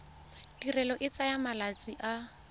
tirelo e tsaya malatsi a